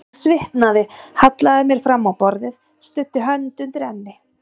Ég svitnaði, hallaði mér fram á borðið, studdi hönd undir enni.